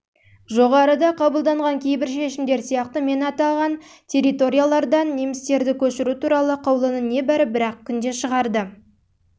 жоғарыда қабылданған кейбір шешімдер сияқты мен аталған территориялардан немістерді көшіру туралы қаулыны небәрі бір-ақ күнде шығарды ол жылдың